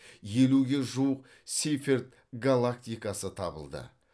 елуге жуық сейферт галактикасы табылды